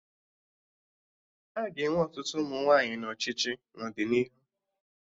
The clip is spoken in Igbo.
Aga enwe ọtụtụ ụmụ nwaanyị na ọchịchị n'ọdịnihu